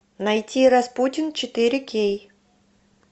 найти распутин четыре кей